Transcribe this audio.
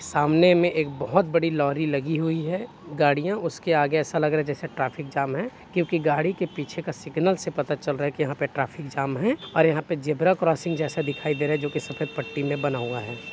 सामने में एक बोहोत बड़ी लॉरी लगी हुई है गाड़ियों उसके आगे ऐसा लग रहा है जैसे ट्रैफिक जाम है क्योंकि गाड़ी के पीछे का सिग्नल से पता चल रहा है कि यहाँ पे ट्रैफिक जाम है और यहाँ पे ज़ेबरा क्रॉसिंग जैसा दिखाई दे रहा हैजो कि सफेद पट्टी में बनाया है।